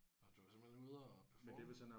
Nåh du var simpelthen ude at performe?